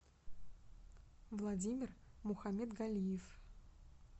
владимир мухамедгалиев